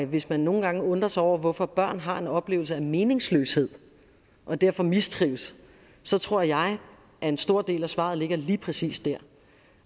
hvis man nogle gange undrer sig over hvorfor børn har en oplevelse af meningsløshed og derfor mistrives så tror jeg at en stor del af svaret ligger lige præcis der